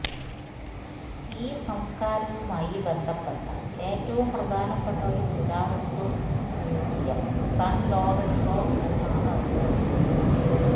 ഈ സംസ്കാരവുമായി ബന്ധപ്പെട്ട ഏറ്റവും പ്രധാനപ്പെട്ട ഒരു പുരാവസ്തു മ്യൂസിയം സൺ ലോറെൻസോ എന്നാണ് അറിയപ്പെടുന്നത്